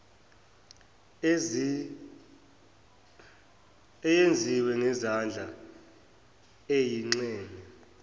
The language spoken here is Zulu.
eyenziwa ngezandla eyingxenye